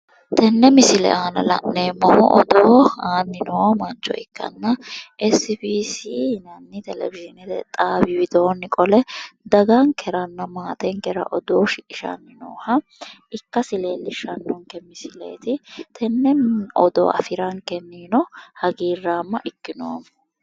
Tenne misile aana la'neemmohu odoo aanni noo mancho ikkanna essi bii sii yinanni televixhiine xaawi widoonni qole dagankeranna maatenkera odoo shiqinshanni nooha ikkasi leellishshannonke misileeti. Tenne odoo afirankennino hagiirraamma ikkinoommo.